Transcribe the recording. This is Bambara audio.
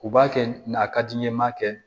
U b'a kɛ na ka di n ye n ma kɛ